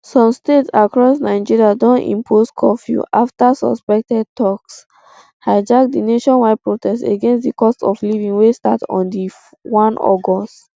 some states across nigeria don impose curfew afta suspected thugs hijack di nationwide protest against di cost of living wey start on one august